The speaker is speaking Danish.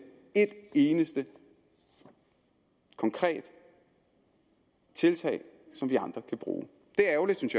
et eneste konkret tiltag som vi andre kan bruge det er ærgerligt synes